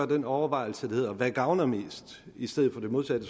den overvejelse der hedder hvad der gavner mest i stedet for det modsatte